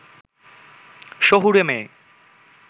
শহুরে মেয়ে